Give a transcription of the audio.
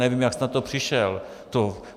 Nevím, jak jste na to přišel.